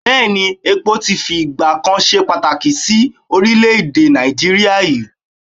Bẹ́ẹ̀ ni, epo ti fi ìgbà kan ṣe pàtàkì sí oprílè-èdè Nàìjíríà rí?